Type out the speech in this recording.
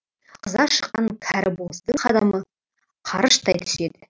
қыза шыққан кәрібоздың қадамы қарыштай түседі